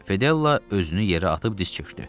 Fedella özünü yerə atıb diz çökdü.